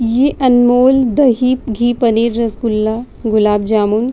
ये अनमोल दही घी पनीर रसगुल्ला गुलाब जामुन --